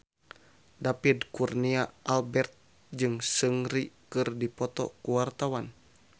David Kurnia Albert jeung Seungri keur dipoto ku wartawan